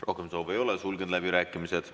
Rohkem soove ei ole, sulgen läbirääkimised.